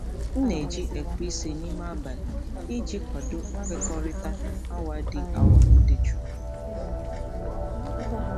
M na-eji ekweisi n'ime abalị iji kwado nkwekọrịta awa dị awa dị jụụ.